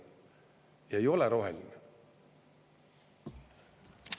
Ei ole roheline.